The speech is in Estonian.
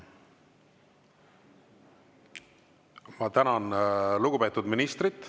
Ma tänan lugupeetud ministrit.